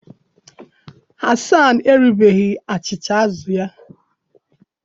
Hasan eribeghị achịcha azụ̀ ya